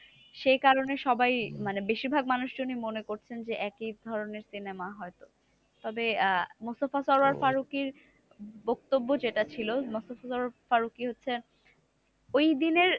সেই কারণে সবাই মানে বেশিরভাগ মানুষজনই মনে করছেন যে, একই ধরণের cinema হয়তো। তবে আহ মুস্তফা সারোয়ার ফারুকের বক্তব্য যেটা ছিল, মুস্তফা সারোয়ার ফারুকই হচ্ছে ওই দিনের